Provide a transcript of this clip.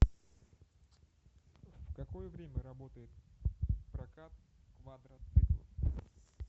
в какое время работает прокат квадроциклов